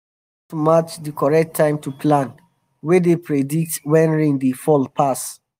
i don learn how to match di correct time to plan wey dey predict when rain dey fall pass